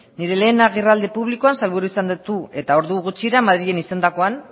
nire lehen agerraldi publikoan sailburu izendatu eta ordu gutxira madrilen izandakoan